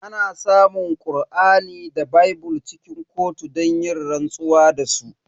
Ana samun Kur'ani da bible cikin kotu don yin rantsuwa da su.